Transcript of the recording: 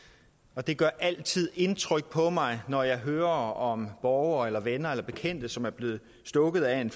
og det gør altid indtryk på mig når jeg hører om borgere eller venner og bekendte som er blevet stukket af en